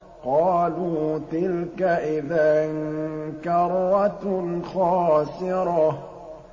قَالُوا تِلْكَ إِذًا كَرَّةٌ خَاسِرَةٌ